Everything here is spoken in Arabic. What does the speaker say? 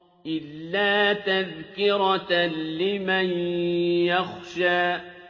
إِلَّا تَذْكِرَةً لِّمَن يَخْشَىٰ